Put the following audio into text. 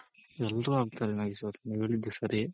ಎಲ್ರೂ ಆಗ್ತಾರೆ ನಾಗೇಶ್ ಅವ್ರೆ ನೀವ್ ಹೇಳಿದ್ದ್ ಸರಿ